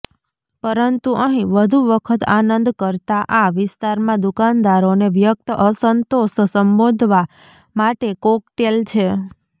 પરંતુ અહીં વધુ વખત આનંદ કરતાં આ વિસ્તારમાં દુકાનદારોને વ્યક્ત અસંતોષ સંબોધવા માટે કોકટેલ છે